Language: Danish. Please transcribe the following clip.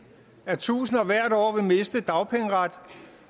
at tusinder hvert år vil miste dagpengeret